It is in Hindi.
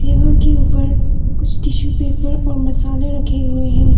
टेबल के ऊपर कुछ टिशू पेपर और मसाले रखे हुए हैं।